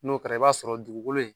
N'o kɛra i b'a sɔrɔ dugukolo in